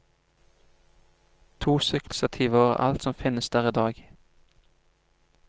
To sykkelstativer er alt som finnes der i dag.